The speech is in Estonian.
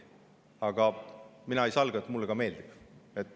Aga mina ei salga, et mulle meeldib.